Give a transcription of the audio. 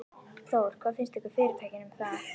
Þór: Hvað finnst fyrirtækinu um það?